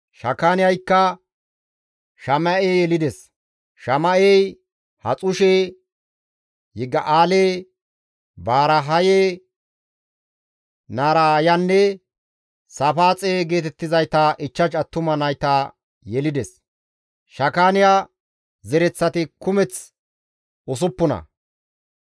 Shakaaniyaykka Shama7e yelides; Shama7ey Haxushe, Yigi7aale, Baaryahe, Narayanne Saafaaxe geetettizayta 5 attuma nayta yelides; Shakaaniya zereththati kumeththi usuppuna.